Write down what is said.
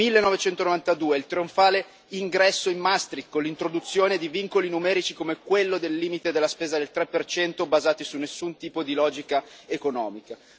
1992 il trionfale ingresso in Maastricht, con l'introduzione di vincoli numerici, come quello del limite della spesa del 3, basati su nessun tipo di logica economica.